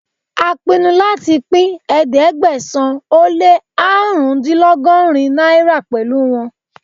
A pinu láti pín ẹ̀ẹ́dẹ́gbẹ̀sán-ó-lé-árùnúndínlọ́gọ́rin náírà pẹ̀lú wọn.